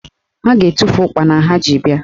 Ha ga-etufu ụkpana ha ji bịa